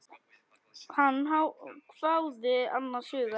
Hann hváði annars hugar.